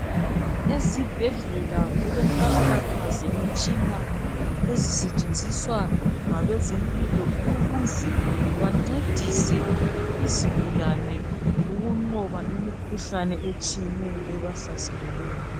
Ezibhedlela kulenkalakatha zimitshina ezisetshenziswa ngabezempilo ukuze bancedise izigulane ukunqoba imikhuhlane etshiyeneyo ebahlaseleyo.